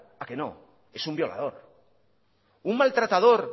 a que no es un violador un maltratador